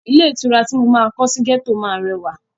Ilé ìtura ti mo máa kọ sí gẹ́tọ̀ máa rẹwà.